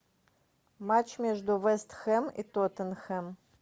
матч между вест хэм и тоттенхэм